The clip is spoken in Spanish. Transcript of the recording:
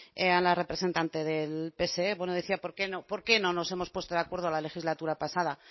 a la representante del pse bueno decía por qué no por qué no nos hemos puesto de acuerdo en la legislatura pasada